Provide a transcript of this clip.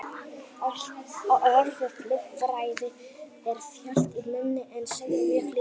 Orðið lýðfræði er þjált í munni en segir mjög lítið.